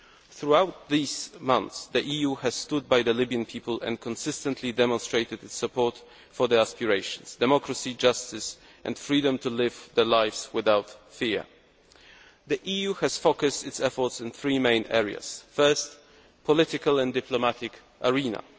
Throughout these months, the EU has stood by the Libyan people and consistently demonstrated its support for their aspirations democracy, justice and freedom to live their lives without fear. The EU has focused its efforts on three main areas first, the political and diplomatic arena